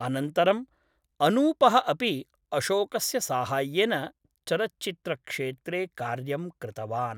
अनन्तरम्, अनूपः अपि अशोकस्य साहाय्येन चलच्चित्रक्षेत्रे कार्यं कृतवान्।